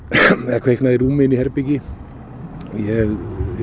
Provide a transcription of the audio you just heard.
eða kviknað í rúmi inni í herbergi ég